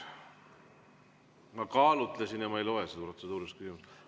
Ma kaalutlesin ja ma ei loe seda protseduuriliseks küsimuseks.